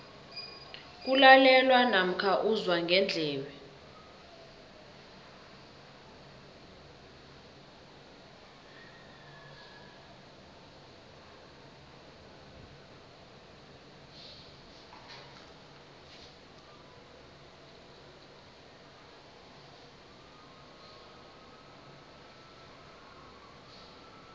kulalelwa namkha uzwa ngendlebe